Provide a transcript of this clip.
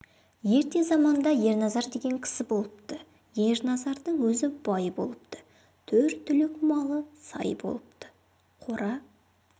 ерте заманда ерназар деген кісі болыпты ерназардың өзі бай болыпты төрт түлік малы сай болыпты қора